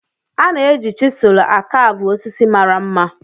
A na-eji chiselu a caavu osisi mara mma.